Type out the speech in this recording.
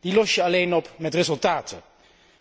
Die los je alleen op met resultaten,